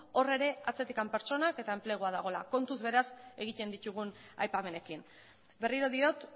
hor ere atzetik pertsonak eta enplegua eta dagoela kontuz beraz egiten ditugun aipamenekin berriro diot